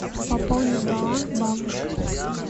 пополнить баланс бабушка